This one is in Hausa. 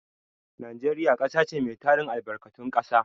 Najeriya ƙasa ce mai tarin albarkatun ƙasa.